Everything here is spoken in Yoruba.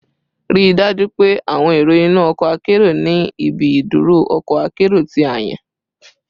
Rii daju pe awọn ero inu ọkọ akero ni ibi iduro ọkọ akero ti a yan